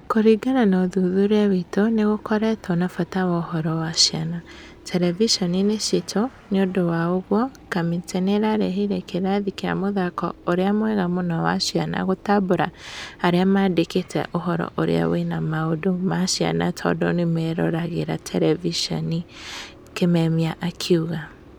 Kũringana na ũthuthuria witũ nĩgũkoretwo na bata wa ũhoro wa ciana, terevishoninĩ citũ na nĩundũ wa ũguo, kamĩtĩ nĩyarehire kirathi kĩa mũthako ũrĩa mwega mũno wa ciana gũtambũra arĩa maandĩkĩte ũhoro ũrĩa wĩna maundũ ma ciana tondũ nĩmeroragĩra terevishoni,"Kimemia akiuga.